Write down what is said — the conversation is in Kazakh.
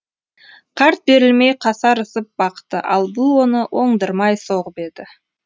қарт берілмей қасарысып бақты ал бұл оны оңдырмай соғып еді